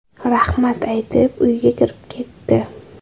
Rahmat aytib, uyiga kirib ketdi.